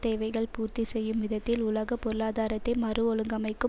தேவைகள் பூர்த்தி செய்யும் விதத்தில் உலக பொருளாதாரத்தை மறுஒழுங்கமைக்கும்